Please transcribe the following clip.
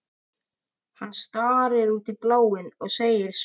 Hann starir út í bláinn og segir svo